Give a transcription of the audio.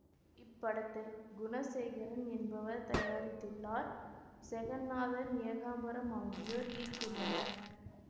இப்படத்தை குணசேகரன் என்பவர் தயாரித்துள்ளார் செகன்னாதன் ஏகாம்பரம் ஆகியோர் இயக்கியுள்ளனர்